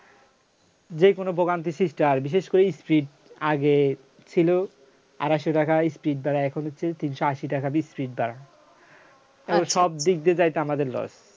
যেকোনো ভোগান্তি সৃষ্টি হয় বিশেষ করে speed আগে ছিল আর আসলে লেখা হয় speed বাড়াই এখন হচ্ছে তিনশো আশি টাকা piece বারায় তারপরে সব দিক দিয়ে যাইতে আমাদের loss